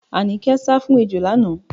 Àníkẹ́ sá fún ejò lánàá.